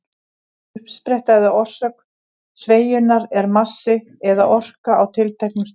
Uppspretta eða orsök sveigjunnar er massi eða orka á tilteknum stöðum.